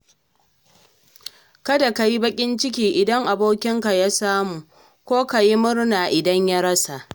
Ɗan uwa ka saki jikinka ka yi rayuwa, samu da rashi na Allah ne.